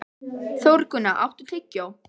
Þórgunna, áttu tyggjó?